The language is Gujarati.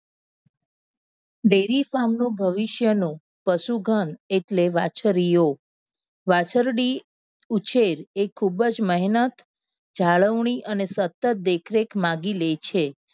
Dairy farm નું ભવિષ્ય નું પશુઘન એટલે વાછરીઓ. વાછરડી ઉછેર એ ખૂબ જ મહેનત જાળવણી અને સતત દેખરેખ માગી લે છે.